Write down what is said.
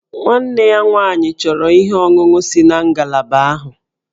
Nwanne ya nwaanyị chọrọ ihe ọṅụṅụ si na ngalaba ahụ